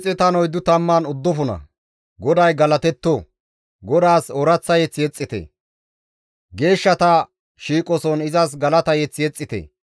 GODAY galatetto! GODAAS ooraththa mazamure yexxite! Geeshshata shiiqoson izas galata mazamure yexxite!